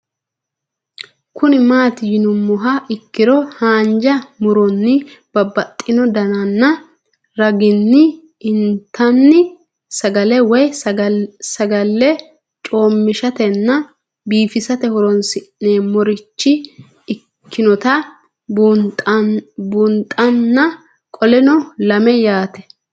Kuni mati yinumoha ikiro hanja muroni babaxino daninina ragini intani sagale woyi sagali comishatenna bifisate horonsine'morich ikinota bunxana qoleno lame yaate